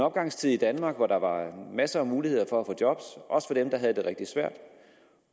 opgangstid i danmark og der var masser af muligheder for at få job også for dem der havde det rigtig svært